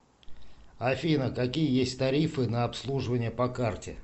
афина какие есть тарифы на обслуживание по карте